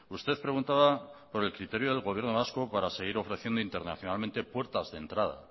usted preguntaba por el criterio del gobierno vasco para seguir ofreciendo internacionalmente puertas de entrada